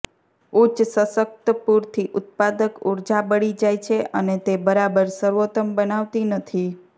ઉચ્ચ સશક્ત પૂરથી ઊત્પાદક ઊર્જા બળી જાય છે અને તે બરાબર સર્વોત્તમ બનાવતી નથી